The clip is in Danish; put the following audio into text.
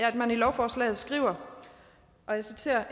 at man i lovforslaget skriver og jeg citerer